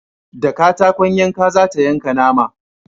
Da katakon yanka za ta yanka nama